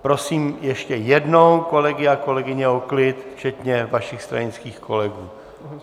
Prosím ještě jednou kolegy a kolegyně o klid včetně vašich stranických kolegů.